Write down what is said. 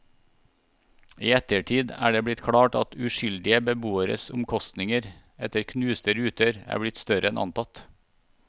I ettertid er det blitt klart at uskyldige beboeres omkostninger etter knuste ruter er blitt større enn antatt.